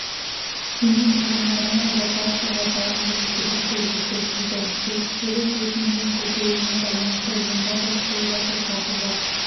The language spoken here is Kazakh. семей тұрғындарына эвакуацияға дайын болу керектігі ескертілді ертістегі су деңгейінің көтерілуіне байланысты онда су басуқаупі бар